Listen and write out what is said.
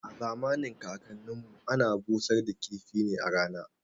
A zamanin kakan nin mu ana busar da kifi ne a rana